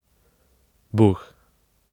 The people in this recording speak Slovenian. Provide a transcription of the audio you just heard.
Buh!